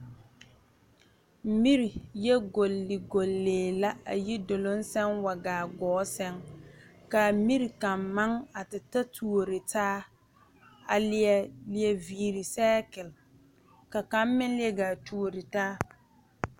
Mire yɛ gɔgle gɔglɛɛ la a yi duluŋ saŋ wa gaa gɔɔ saŋ kaa yiri kaŋ maŋ te ta tuure taa a leɛ vire sekale ka kaŋ meŋ leɛ gaa tuure taa.